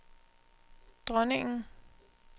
dronningen